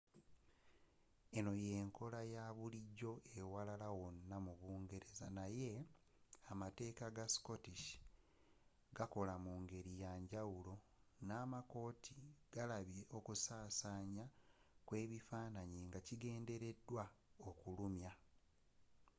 eno y'enkola yabulijjo ewalala wonna mu uk naye amateeka ga scottish gakola mungeri yanjawulo n'amakooti galabye okusasanya kwebifanaanyi nga kigendelera okulumya